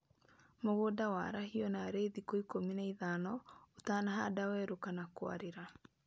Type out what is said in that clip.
Mũgũnda warahio narĩ thikũ ikũmi na ithano utanahanda werũ kana kũarĩra